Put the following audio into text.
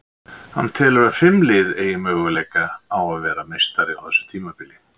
Hann telur að fimm lið eigi möguleika á að verða meistari á þessu tímabili.